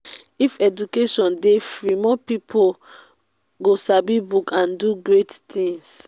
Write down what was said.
if education dey free more pipo go sabi book and do great things.